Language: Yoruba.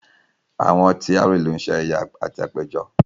Àwọn tí àárín ìlú ń ṣe ayẹyẹ àti àpéjọ